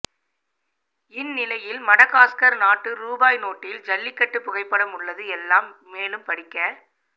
இந்நிலையில் மடகாஸ்கர் நாட்டு ரூபாய் நோட்டில் ஜல்லிக்கட்டு புகைப்படம் உள்ளது எல்லாம் மேலும் படிக்க